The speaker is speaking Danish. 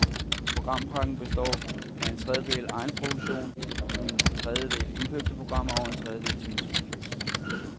Programpakken består af en tredjedel egenproduktion, en tredjedel indkøbte programmer og en tredjedel til musik.